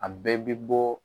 A bɛɛ bɛ bɔ.